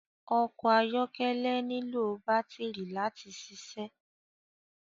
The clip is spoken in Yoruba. Ọkọ ayọkẹlẹ nilo batiri láti ṣiṣẹ